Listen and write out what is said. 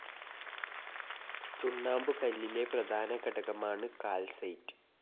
ചുണ്ണാമ്പുകല്ലിലെ പ്രധാന ഘടകമാണ് കാൽസൈറ്റ്.